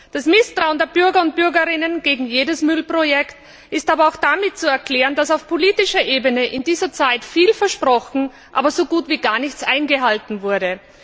Das Misstrauen der Bürgerinnen und Bürger gegen jedes Müllprojekt ist aber auch damit zu erklären, dass auf politischer Ebene in dieser Zeit viel versprochen, aber so gut wie gar nichts eingehalten wurde.